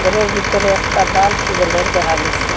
ঘরের ভিতরে একটা বাল্ফ জ্বলের দেখা গেসে।